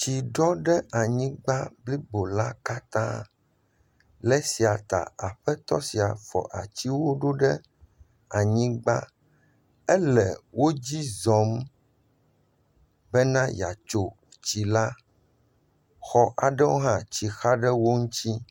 Tsi ɖɔ ɖe anyigba blibo la katã, le esia ta aƒetɔ sia fɔ atiwo ɖoɖe anyigba ele wodzi zɔm bena yeatso tsi la, xɔ aɖewo hã tsi xa ɖewo ŋu.